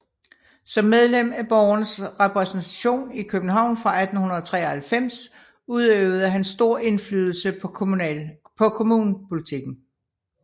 Som medlem af borgernes repræsentation i København fra 1893 udøvede han stor indflydelse på kommunepolitikken